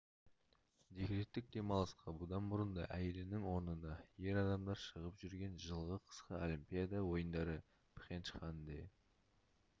декреттік демалысқа бұдан бұрын да әйелінің орнына ер адамдар шығып жүрген жылғы қысқы олимпиада ойындары пхенчханде